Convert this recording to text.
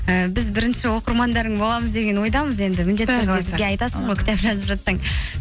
ііі біз бірінші оқырмандарың боламыз деген ойдамыз енді бізге айтасың ғой кітап жазып жатсаң